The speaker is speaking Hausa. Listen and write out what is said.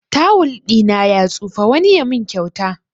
Tawul ɗina ya tsufa, wani ya mun kyauta